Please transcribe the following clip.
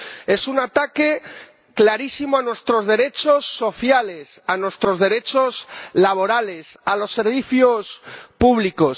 Es un ataque clarísimo a nuestros derechos sociales, a nuestros derechos laborales, a los servicios públicos.